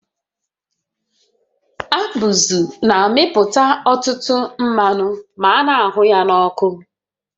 Abụzụ na-amịpụta ọtụtụ mmanụ ma a na-ahụ ya n'ọkụ